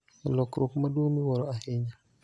E lokruok maduong� miwuoro ahinya,